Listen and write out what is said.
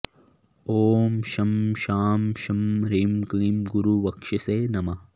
ॐ शं शां षं ह्रीं क्लीं गुरुवक्षसे नमः